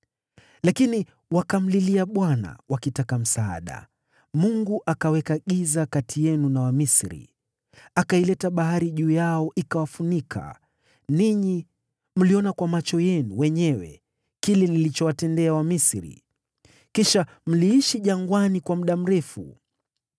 Lakini wakamlilia Bwana wakitaka msaada, naye akaweka giza kati yenu na Wamisri, akaileta bahari juu yao ikawafunika. Ninyi mliona kwa macho yenu wenyewe kile nilichowatendea Wamisri. Kisha mliishi jangwani kwa muda mrefu.